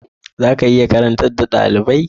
Za ka iya karantar da dalibai?